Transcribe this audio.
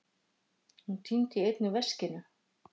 Hún týndi einnig veskinu